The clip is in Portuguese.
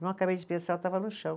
Não acabei de pensar, eu estava no chão.